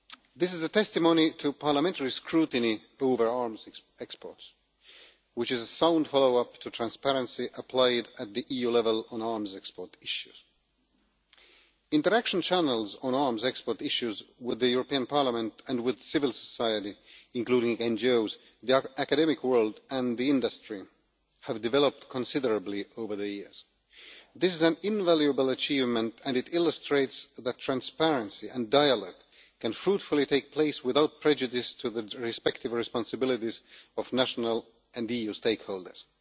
This is a testimony to parliamentary scrutiny of arms exports, which is a sound follow up to transparency applied at EU level on arms export issues. Interaction channels on arms export issues with Parliament and civil society, including NGOs, the academic world and the industry have developed considerably over the years. This is an invaluable achievement and it illustrates that transparency and dialogue can fruitfully take place without prejudice to the respective responsibilities of national and EU stakeholders.